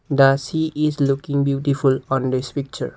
the sea is looking beautiful on this picture.